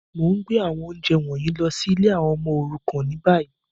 Mo n gbé àwọn ounjẹ wọ̀nyí lọ si ìlé àwon ọmọ òrukàn ni bayi.